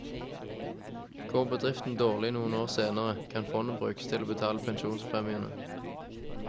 Går bedriften dårlig noen år senere, kan fondet brukes til å betale pensjonspremiene.